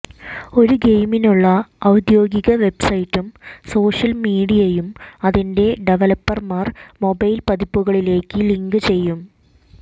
ഒരു ഗെയിമിനുള്ള ഔദ്യോഗിക വെബ്സൈറ്റും സോഷ്യൽ മീഡിയയും അതിന്റെ ഡവലപ്പർമാർ മൊബൈൽ പതിപ്പുകളിലേക്ക് ലിങ്ക് ചെയ്യും